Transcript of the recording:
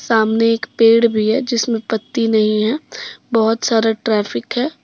सामने एक पेड़ भी है जिसमें पत्ती नहीं है। बहोत सारा ट्रैफिक है।